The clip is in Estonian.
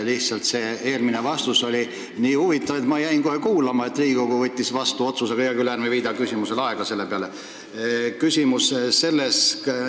Lihtsalt see eelmine mulle antud vastus oli nii huvitav, et ma jäin kohe hoolega kuulama – no see, kuidas Riigikogu otsuse vastu võttis –, aga hea küll, ärme viidame selle peale aega.